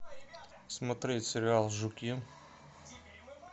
смотреть сериал жуки